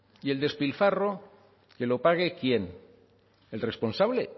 y el despilfarro que lo pague quién el responsable